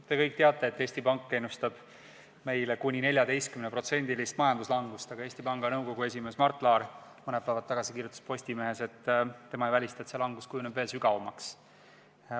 Te kõik teate, et Eesti Pank ennustab meile kuni 14%-list majanduslangust, aga Eesti Panga nõukogu esimees Mart Laar kirjutas mõni päev tagasi Postimehes, et ta ei välista, et see langus kujuneb veel sügavamaks.